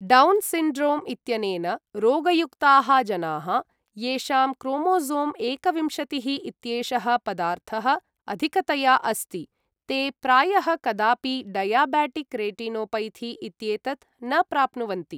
Down syndrome इत्यनेन रोगयुक्ताः जनाः, येषां क्रोमोसों एकविंशतिः इत्येषः पदार्थः अधिकतया अस्ति, ते प्रायः कदापि डयाबेटिक् रेटिनोपैथी इत्येतत् न प्राप्नुवन्ति।